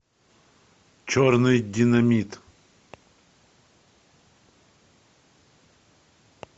черный динамит